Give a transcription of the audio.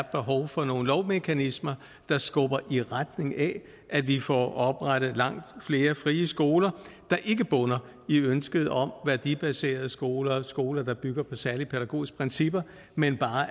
behov for nogle lovmekanismer der skubber i retning af at vi får oprettet langt flere frie skoler der ikke bunder i ønsket om værdibaserede skoler skoler der bygger på særlige pædagogiske principper men